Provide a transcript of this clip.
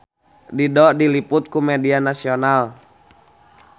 Dido diliput ku media nasional